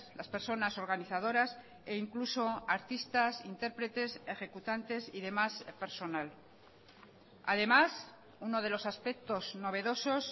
las personas organizadoras e incluso artistas intérpretes ejecutantes y demás personal además uno de los aspectos novedosos